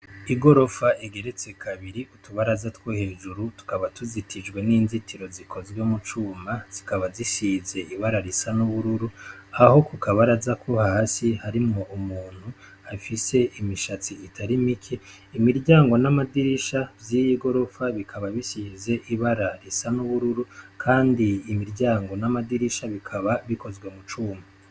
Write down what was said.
Igorofa igeretse kabiri, kut'ubaraza two hejuru tukaba tuzitijwe n'inzitiro zikozwe mucuma, zikaba zisizwe ibara risa n'ubururu aho kuka baraza ko hasi harimwo umuntu afise imisatsi itari mike. Imiryango n'amadirisha vy'iyi gorofa bikaba bisize ibara risa n'ubururu kandi imiryango n'amadirisha bikaba bikozwe mucuma.